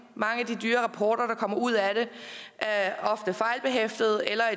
mange af de dyre rapporter der kommer ud af det er ofte fejlbehæftede eller